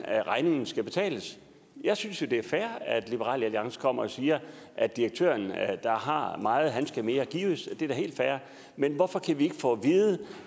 regningen skal betales jeg synes jo det er fair at liberal alliance kommer og siger at direktøren der har meget han skal mere gives det er da helt fair men hvorfor kan vi ikke få